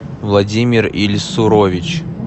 владимир ильсурович